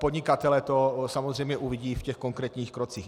Podnikatelé to samozřejmě uvidí v těch konkrétních krocích.